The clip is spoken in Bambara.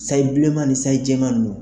Sayi bilenman ni sayi jɛman nunnu.